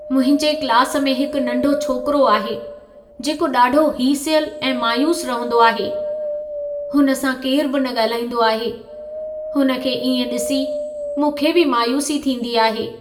मुंहिंजे क्लास में हिकु नंढो छोकरो आहे, जेको ॾाढो हीसियलु ऐं मायूसु रहंदो आहे। हुन सां केरु बि न ॻाल्हाईंदो आहे। हुन खे इएं ॾिसी मूंखे बि मायूसी थींदी आहे।